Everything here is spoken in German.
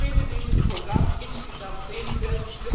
Ich finde dieses Programm insgesamt sehenswert.